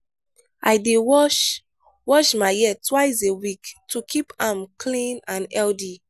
i dey wash wash my hair twice a week to keep am clean and healthy.